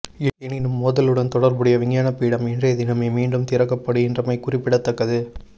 எனினும் மோதலுடன் தொடர்புடைய விஞ்ஞான பீடம் இன்றைய தினமே மீண்டும் திறக்கப்படுகின்றமைகுறிப்பிடத்தக்கது